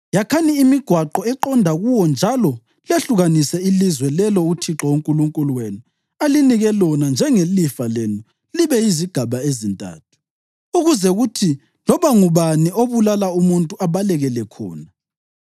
Yakhani imigwaqo eqonda kuwo njalo lehlukanise ilizwe lelo uThixo uNkulunkulu wenu alinike lona njengelifa lenu libe yizigaba ezintathu, ukuze kuthi loba ngubani obulala umuntu abalekele khona.